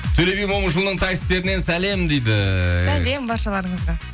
төле би момышұлының таксистерінен сәлем дейді сәлем баршаларыңызға